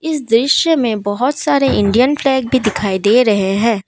इस दृश्य में बहुत सारे इंडियन फ्लैग भी दिखाई दे रहे हैं।